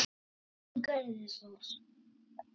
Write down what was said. En hún gerði það.